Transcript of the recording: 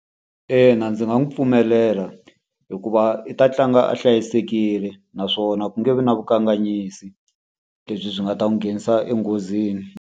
Ina ndzi nga n'wi pfumelela hikuva i ta tlanga a hlayisekile, naswona ku nge vi na vukanganyisi lebyi byi nga ta n'wi nghenisa enghozini.